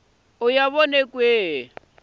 ya vona ku ya hi